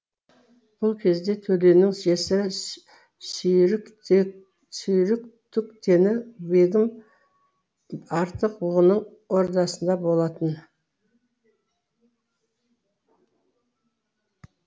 бұл кезде төленің жесірі сүйріктүктені бегім арық бұғының ордасында болатын